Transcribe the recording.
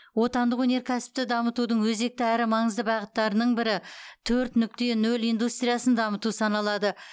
отандық өнеркәсіпті дамытудың өзекті әрі маңызды бағыттарының бірі төрт нүкте нөл индустриясын дамыту саналады